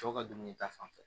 Cɛw ka dumuni ta fanfɛ